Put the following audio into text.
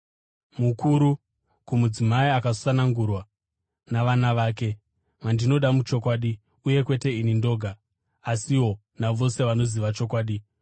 Mukuru, kumudzimai akasanangurwa navana vake, vandinoda muchokwadi, uye kwete ini ndoga, asiwo navose vanoziva chokwadi,